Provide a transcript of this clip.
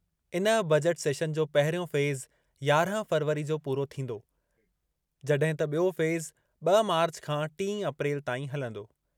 इन budget session जो पहिरियों फ़ेज़ यारहं फ़रवरी जो पूरो थींदो, जॾहिं त ॿियों फ़ेज़ ॿ मार्च खां टीं अप्रैल ताईं हलंदो।